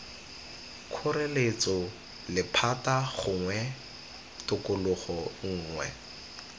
kgoreletso lephata gongwe tokololo nngwe